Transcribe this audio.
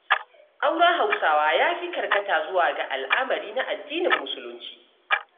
Auren Hausawa ya fi karkata zuwa ga al'amari na addinin Musulunci.